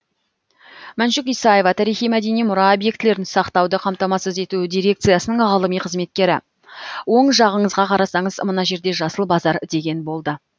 мәншүк исаева тарихи мәдени мұра объектілерін сақтауды қамтамасыз ету дирекциясының ғылыми қызметкері оң жағыңызға қарасаңыз мына жерде жасыл базар деген болды